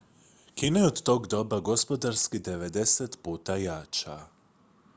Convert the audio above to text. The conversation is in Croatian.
kina je od tog doba gospodarski 90 puta jača